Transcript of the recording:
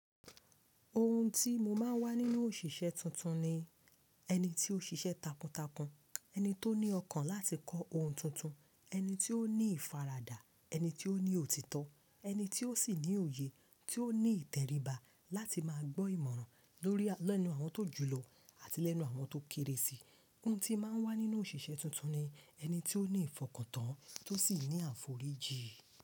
Ohun tí mo máa ń wá nínú òṣìṣẹ́ tuntun ni ẹni tí ó ṣiṣẹ́ takuntakun, ẹni tó ní ọkàn láti kọ́ ohun tuntun, ẹni tí ó ní ìfaradà, ẹni tí ó ní òtítọ́, ẹni tí ó sì ní òye, tí ó ní ìtẹríba láti máa gbọ́ ìmọ̀ràn lórí lẹ́nu àwọn tó jùú lọ àti lẹ́nu àwọn tó kéré si. Ohun tí máa ń wá nínú òṣìṣẹ́ tuntun ni ẹni tí ó ní ìfọkàntán tó sì ní àforíjì.